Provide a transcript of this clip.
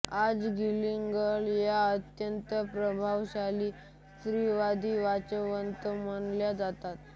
आज गिलिगन या अत्यंत प्रभावशाली स्त्रीवादी विचारवंत मानल्या जातात